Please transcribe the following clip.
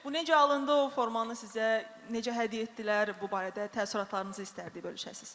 Bu necə alındı, o formanı sizə necə hədiyyə etdilər, bu barədə təəssüratlarınızı istərdik bölüşəsiz.